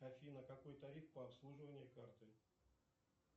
афина какой тариф по обслуживанию карты